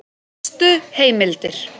Helstu heimildir